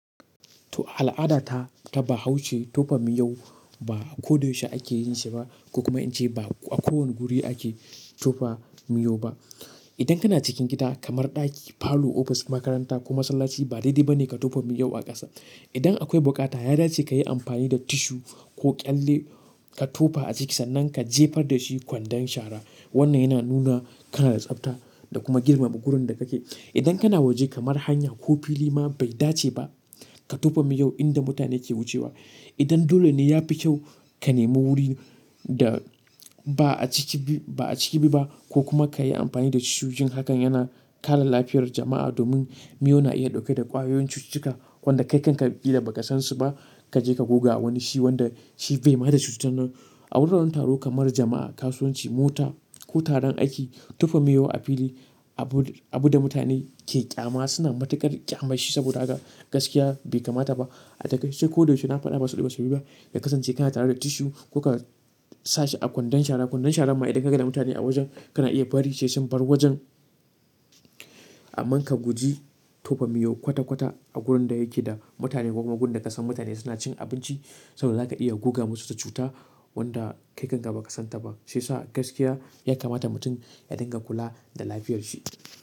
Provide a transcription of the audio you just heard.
To al'ada ta ta bahaushe tofa miyau ba a ko da yaushe ake yin shi ba, ko kuma in ce ba a kowane guri ake tofa miyau ba. Idan kana cikin gida kamar ɗaki, falo, ofis, makaranta ko masallaci ba daidai ba ne ka tofa miyau a ƙasa. Idan akwai bukata, ya dace kayi amfani da tissue ko ƙyalle ka tofa a cikinsa nan ka jefar da shi kwandon shara. Wannan yana nuna kana da tsafta da kuma girmama wurin da kake. Idan kana waje kamar hanya ko fili ma bai dace ba ka tofa miyau inda mutane ke wucewa. Idan dole ne ya fi kyau ka nemo wurin da ba a ciki bi ba a ciki bi ba ko kuma kayi amfani da tissue jin haka yana kare lafiyar jama'a domin miyau na iya ɗauke da ƙwayoyin cututtuka wanda kai kanka kila baka san su ba. Kaje ka goga wani shi wanda shi bai ma da cutar nan. A wuraren taro kamar jama'a, kasuwanci, mota ko taron aiki tofa miyau a fili abu, abu da mutane ke ƙyama suna matuƙar ƙyamanshi saboda haka gaskiya bai kamata ba. A takaice koda yaushe na faɗa ba saboda wasu biyu ba ka kasance kana tare da tissue ko ka sa shi a kwandon shara. Kwandon shara ma idan ka ga da mutane a wajen kana iya bari sai sun bar wajen. Amma ka guji tofa miyaj kwata kwata a wurin da yake da mutane ko kuma wurin da ka san mutane suna cin abinci saboda za ka iya goga musu da cuta wanda kai kanka ba ka san ta ba. Shiyasa gaskiya ya kamata mutum ya dinga kula da lafiyar shi.